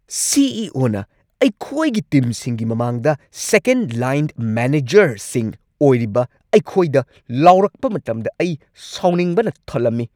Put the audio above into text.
ꯁꯤ. E. O. ꯅ ꯑꯩꯈꯣꯏꯒꯤ ꯇꯤꯝꯁꯤꯡꯒꯤ ꯃꯃꯥꯡꯗ ꯁꯦꯀꯦꯟ ꯂꯥꯏꯟ ꯃꯦꯅꯦꯖꯔꯁꯤꯡ ꯑꯣꯏꯔꯤꯕ ꯑꯩꯈꯣꯏꯗ ꯂꯥꯎꯔꯛꯄ ꯃꯇꯝꯗ ꯑꯩ ꯁꯥꯎꯅꯤꯡꯕꯅ ꯊꯜꯂꯝꯃꯤ ꯫